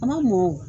A ma mɔ